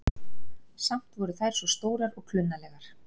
Samt voru þær svo stórar og klunnalegar.